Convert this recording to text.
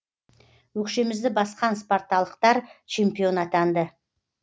өкшемізді басқан спарталықтар чемпион атанды